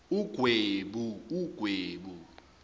ugwebu